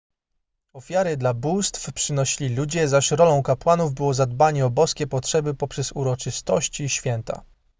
ofiary dla bóstw przynosili ludzie zaś rolą kapłanów było zadbanie o boskie potrzeby poprzez uroczystości i święta